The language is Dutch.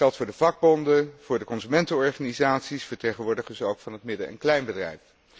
Dat geldt voor de vakbonden, voor de consumentenorganisaties, vertegenwoordigers ook van het midden en kleinbedrijf.